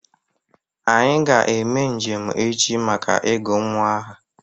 Anyị ga eme njem echi maka ị gu nwa aha